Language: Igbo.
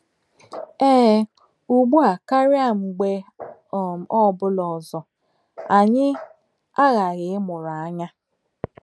Ee, ugbu a karịa mgbe ọ um bụla ọzọ, anyị aghaghị ịmụrụ anya!